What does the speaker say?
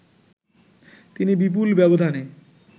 তিনি বিপুল ব্যবধানে